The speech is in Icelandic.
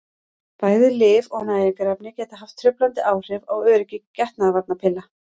bæði lyf og næringarefni geta haft truflandi áhrif á öryggi getnaðarvarnarpilla